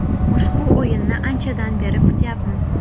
Ushbu o‘yinni anchadan beri kutyapmiz.